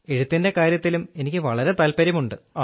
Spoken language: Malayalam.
എഴുത്തിന്റെ കാര്യത്തിലും എനിക്ക് വളരെ താത്പര്യമുണ്ട്